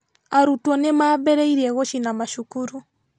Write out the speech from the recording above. Arutwo nĩmambĩrĩirie gũcina macukuru